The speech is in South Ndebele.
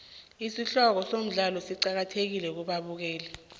isihloko somdlalo siqakathekile kubabukeli